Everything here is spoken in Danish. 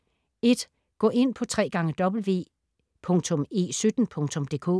Gå ind på www.e17.dk